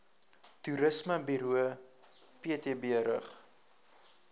toerismeburo ptb rig